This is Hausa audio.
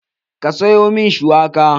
Ka sayo min shuwaka?